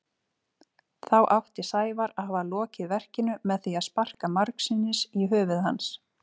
Þá átti Sævar að hafa lokið verkinu með því að sparka margsinnis í höfuð hans.